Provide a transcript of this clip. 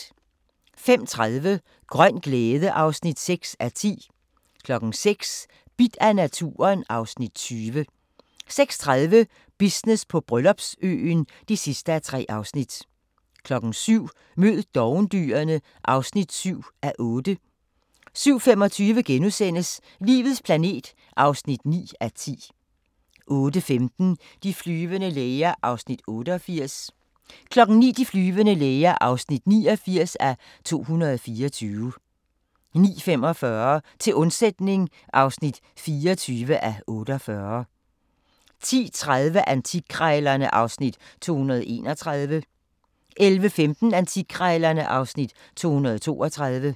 05:30: Grøn glæde (6:10) 06:00: Bidt af naturen (Afs. 20) 06:30: Business på Bryllupsøen (3:3) 07:00: Mød dovendyrene (7:8) 07:25: Livets planet (9:10)* 08:15: De flyvende læger (88:224) 09:00: De flyvende læger (89:224) 09:45: Til undsætning (24:48) 10:30: Antikkrejlerne (Afs. 231) 11:15: Antikkrejlerne (Afs. 232)